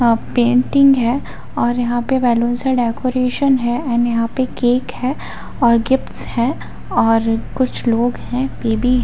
यह पेंटिंग है और यहाँ पे बलून से डेकोरेशन है एंड यहाँ पे केक है और गिफ्ट्स है और कुछ लोग हैं।